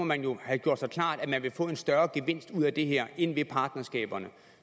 man jo have gjort sig klart at man vil få en større gevinst ud af det her end af partnerskaberne